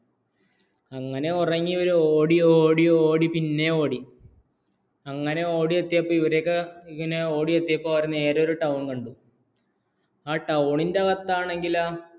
അങ്ങനെ ഉറങ്ങി ഇവര്‍ ഓടിയോടി പിന്നെയും ഓടി അങ്ങനെ ഓടിയെത്തിയപ്പോള്‍ ഇവരെയൊക്കെ ഇങ്ങനെ ഓടിയെത്തപ്പോള്‍അവര്‍ നേരെ ഒരു ടൌണ്‍ കണ്ടു ആ ടൌണിന്റെ വക്കതാനെഗില്ലോ